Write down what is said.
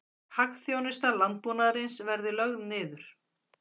Hagþjónusta landbúnaðarins verði lögð niður